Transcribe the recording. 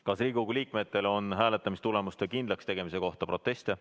Kas Riigikogu liikmetel on hääletamistulemuste kindlakstegemise kohta proteste?